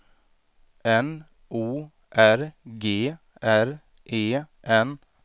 N O R G R E N